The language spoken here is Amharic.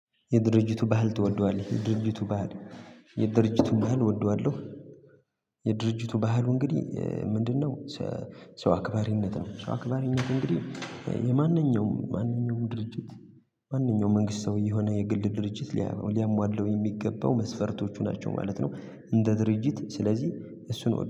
የድርጅቱ ባህል ትወደዋለህ? የድርጅቱ ባህል የድርጅቱ ባህል እወደዋለሁ። የድርጅቱ ባህሉ እንግዲህ ምንድነው? ሰው አክባሪነት ነው። ሰው አክባሪነት እንግዲህ የማንኛውም ማንኛውም ድርጅት። ማንኛውም መንግስት ሰውዬ የሆነ የግል ድርጅት ሊያሟላው የሚገባው መስፈርቶቹ ናቸው ማለት ነው። እንደ ድርጅት ስለዚህ እሱን